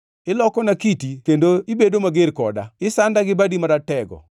Ilokona kiti kendo ibedo mager koda; isanda gi badi maratego.